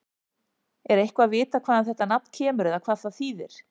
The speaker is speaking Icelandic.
Er eitthvað vitað hvaðan þetta nafn kemur eða hvað það þýðir?